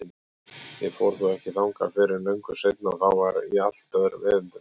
Ég fór þó ekki þangað fyrr en löngu seinna og þá í allt öðrum erindum.